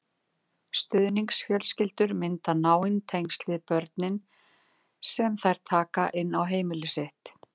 Stuðningsfjölskyldur mynda náin tengsl við börnin sem þær taka inn á heimili sitt.